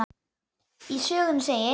Í sögunni segir: